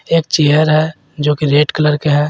एक चेयर है जो कि रेड कलर के है।